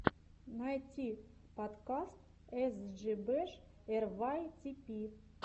найти подкаст эс джи бэш эр вай ти пи